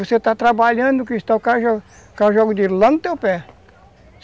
Você está trabalhando no cristal, o cara joga o cara joga o dinheiro lá no teu pé.